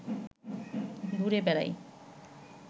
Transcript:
ঘুরে বেড়াই